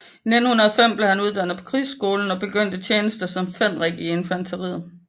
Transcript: I 1905 blev han uddannet på krigsskolen og begyndte tjenesten som fenrik i infanteriet